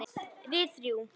Við þrjú.